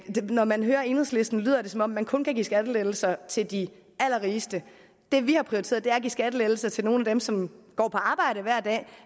når man hører enhedslisten lyder det som om man kun kan give skattelettelser til de allerrigeste det vi har prioriteret er at give skattelettelser til nogle af dem som går på arbejde hver dag